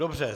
Dobře.